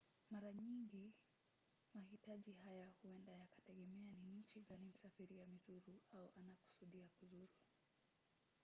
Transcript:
mara nyingi mahitaji haya huenda yakategemea ni nchi gani msafiri amezuru au anakusudia kuzuru